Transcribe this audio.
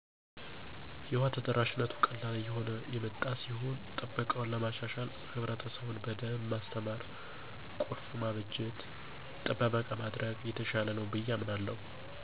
የውሃ ተደራሽነቱ ቀላል እየሆነ የመጣ ሲሆን ጥበቃውን ለማሻሻል ህብረትሰቡን በደንብ ማስተማር፣ ቁልፍ ማበጀት፣ ጥበቃ ማድረግ የተሻለ ነው ብየ አምናለሁ።